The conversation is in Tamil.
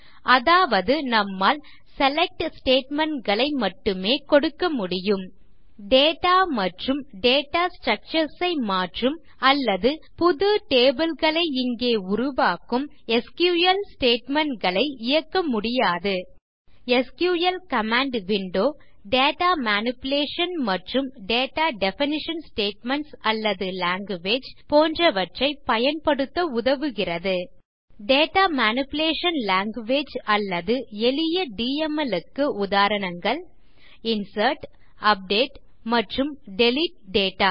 அதாவது நம்மால் செலக்ட் statementகளை மட்டுமே கொடுக்கமுடியும் டேட்டா மற்றும் டேட்டா ஸ்ட்ரக்சர்ஸ் ஐ மாற்றும் அல்லது புது tableகளை இங்கே உருவாக்கும் எஸ்கியூஎல் statementகளை இயக்க முடியாது SQL command window data manipulation மற்றும் டேட்டா டெஃபினிஷன் ஸ்டேட்மென்ட்ஸ் அல்லது லாங்குவேஜ் போன்றவற்றை பயன்படுத்த உதவுகிறது டேட்டா மேனிபுலேஷன் லாங்குவேஜ் அல்லது எளிய டிஎம்எல் க்கு உதாரணங்கள் இன்சர்ட் அப்டேட் மற்றும் டிலீட் டேட்டா